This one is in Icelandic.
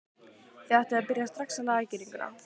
Þið ættuð að byrja strax að laga girðinguna.